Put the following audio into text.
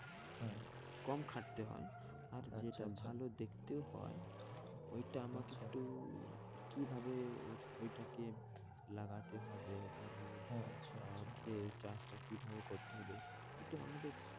কম খাটতে হয় আচ্ছা আচ্ছা আর যেটা ভালো দেখতেও হয় ওইটা আমাকে একটু কি ভাবে ওইটাকে লাগাতে হবে? ওইগুলো আচ্ছা আচ্ছা আর চাষটাকে কি ভাবে করতে হবে একটু আমাকে একটু,